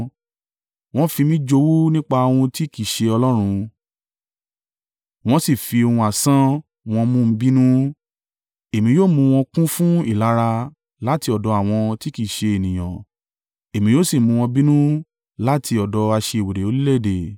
Wọ́n fi mí jowú nípa ohun tí kì í ṣe Ọlọ́run, wọ́n sì fi ohun asán an wọn mú mi bínú. Èmi yóò mú wọn kún fún ìlara láti ọ̀dọ̀ àwọn tí kì í ṣe ènìyàn; èmi yóò sì mú wọn bínú láti ọ̀dọ̀ aṣiwèrè orílẹ̀-èdè.